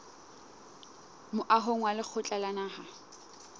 moahong wa lekgotla la naha